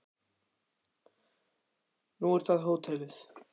Kristján: Nú er það hótelið?